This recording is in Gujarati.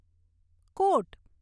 કોટ